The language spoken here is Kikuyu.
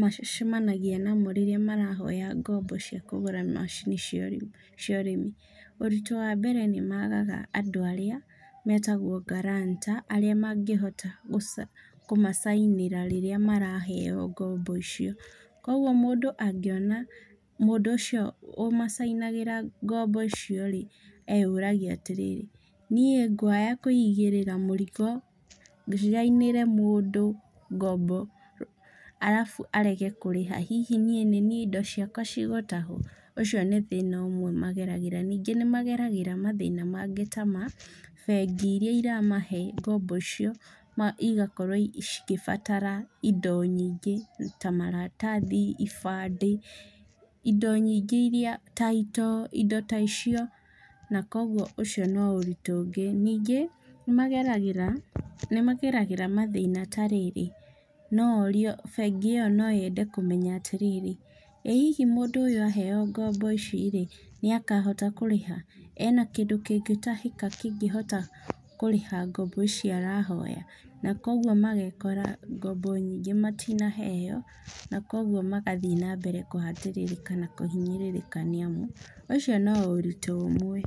macemanagia namo rĩrĩa marahoya ngombo cia kũgũra macini cia ũrĩmi. Uritũ wa mbere nĩ maagaga andũ arĩa metagwo guarantor arĩa mangĩhota gũcaina kũmacainĩra rĩrĩa maraheyo ngombo icio. Koguo mũndũ angĩona mũndũ ũcio ũmacainagĩra ngombo icio rĩ, eyũraga atĩrĩrĩ niĩ ngwaga kũigĩrĩra mũrigo cainĩre mũndũ ngombo, arabu arege kũrĩha, hihi niĩ indo ciakwa cigũtahwo, ũcio nĩ thĩna ũmwe mageragĩra. Ningĩ nĩ mageragĩra mathĩna mangĩ ta ma bengi iria iramahe ngombo icio igakorwo cigĩbatara indo nyingĩ ta maratathi, ibandĩ, indo nyingĩ iria, title, indo ta icio. Na koguo ũcio no ũritũ ũngĩ. Ningĩ nĩ mageragĩra, nĩ mageragĩra mathĩna ta rĩrĩ no orio, bengi iyo no yende kũmenya atĩrĩrĩ, ĩ hihi mũndũ ũyũ aheyo ngombo ici rĩ, nĩ akahota kũrĩha, ena kĩndũ kĩngĩtahĩka kĩngĩhota kũrĩha ngombo ici arahoya, na koguo magekora ngombo nyingĩ matinaheyo, na koguo magathiĩ na mbere na kũhatĩrĩrĩka na kũhinyĩrĩrĩka, nĩ amu ũcio no ũritũ ũmwe.